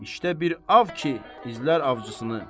İşte bir ov ki, izlər ovçusunu.